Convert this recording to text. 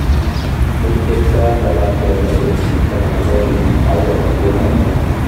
Muitaitaiano lakwet nebo kenyishek 12 aiyo ne te noto